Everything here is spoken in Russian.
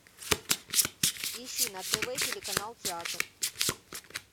ищи на тв телеканал театр